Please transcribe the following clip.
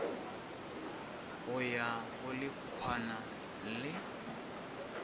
go ya go lehwana le